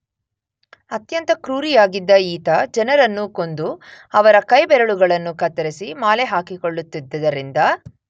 ಅತ್ಯಂತ ಕ್ರೂರಿಯಾಗಿದ್ದ ಈತ ಜನರನ್ನು ಕೊಂದು ಅವರ ಕೈಬೆರಳುಗಳನ್ನು ಕತ್ತರಿಸಿ ಮಾಲೆ ಹಾಕಿಕೊಳ್ಳುತ್ತಿದ್ದರಿಂದ